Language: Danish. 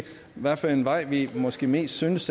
hvad for en vej vi måske mest synes